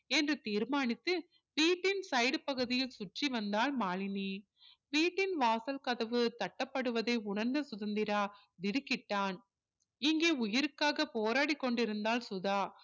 என்று தீர்மானித்து வீட்டின் side பகுதியை சுற்றி வந்தாள் மாலினி வீட்டின் வாசல் கதவு தட்ட படுவதை உணர்ந்த சுதந்திரா திடுக்கிட்டான் இங்கே உயிருக்காக போராடிக் கொண்டிருந்தாள் சுதா